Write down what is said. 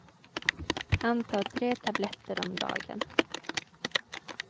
Han tar tre tabletter om dagen.